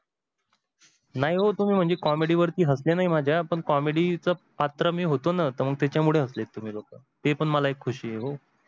नाही ओ म्हणजे तुम्ही comedy वरती हसले नाही माझ्या पण comedy चा पात्र मी होतो ना त्याच्या मुळे हसलेत तुम्ही लोक मला एक खुशी आहे हो.